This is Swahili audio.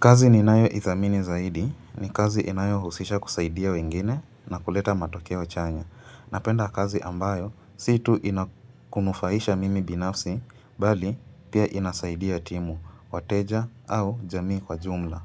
Kazi ninayoithamini zaidi ni kazi inayohusisha kusaidia wengine na kuleta matokeo chanya. Napenda kazi ambayo, si tu inakunufaisha mimi binafsi, bali pia inasaidia timu, wateja au jamii kwa jumla.